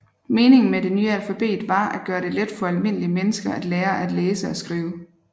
Meningen med det nye alfabet var at gøre det let for almindelige mennesker at lære at læse og skrive